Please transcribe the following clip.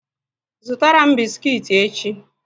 Zụtara m bisikiti echi!